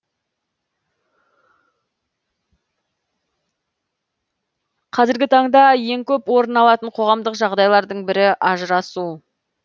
қазіргі таңда ең көп орын алатын қоғамдық жағдайлардың бірі ажырасу